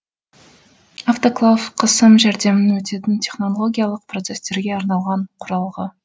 автоклав қысым жәрдемімен өтетін технологиялық процестерге арналған құралғы